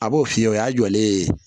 A b'o f'i ye o y'a jɔlen ye